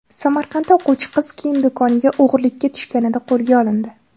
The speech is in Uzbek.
Samarqandda o‘quvchi qiz kiyim do‘koniga o‘g‘rilikka tushganda qo‘lga olindi.